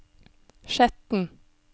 Skjetten